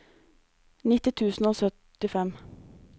nitti tusen og syttifem